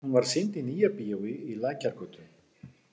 Hún var sýnd í Nýjabíói í Lækjargötu.